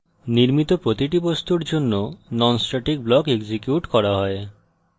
নির্মিত প্রতিটি বস্তুর জন্য নন স্ট্যাটিক ব্লক এক্সিকিউট করা হয়